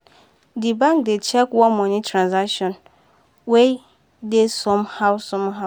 the bank dey check one money transaction wey dey somehow somehow.